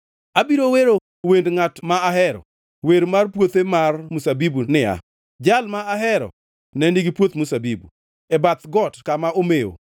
Abiro wero wend ngʼat ma ahero, wer mar puothe mar mzabibu niya: Jal ma ahero ne nigi puoth mzabibu e bath got kama omewo.